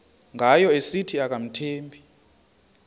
ngayo esithi akamthembi